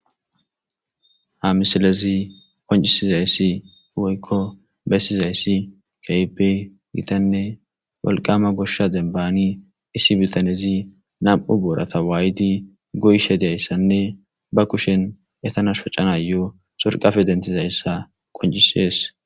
Ha misalezi qoncisizayssi woykko beyssizayssi kaipe gitanne walqama goshsha dembani issi bitanezi nam'u boorata waaydi goyshe dayssanne ba kushen etanash phacanayo sorqafe dentizayssa qoncisees